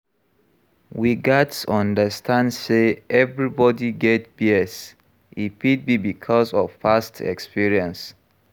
We gats understand sey everybody get bias, e fit be because of past experience